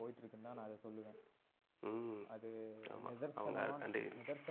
ம்ம். அது நிதர்சனமான